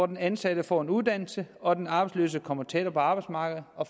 den ansatte får en uddannelse og den arbejdsløse kommer tættere på arbejdsmarkedet og